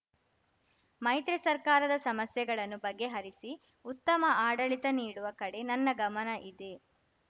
ಮೈತ್ರಿ ಸರ್ಕಾರದ ಸಮಸ್ಯೆಗಳನ್ನು ಬಗೆಹರಿಸಿ ಉತ್ತಮ ಆಡಳಿತ ನೀಡುವ ಕಡೆ ನನ್ನ ಗಮನ ಇದೆ